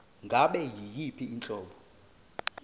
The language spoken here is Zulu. ngabe yiyiphi inhlobo